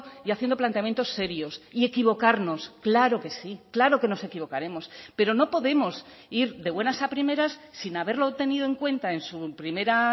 y haciendo planteamientos serios y equivocarnos claro que sí claro que nos equivocaremos pero no podemos ir de buenas a primeras sin haberlo tenido en cuenta en su primera